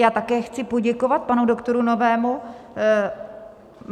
Já také chci poděkovat panu doktoru Novému.